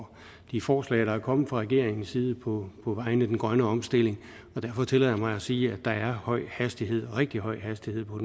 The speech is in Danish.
og de forslag der er kommet fra regeringens side på vegne af den grønne omstilling og derfor tillader jeg mig at sige at der er høj hastighed rigtig høj hastighed når